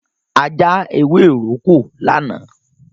A já ewéròkó lánàá.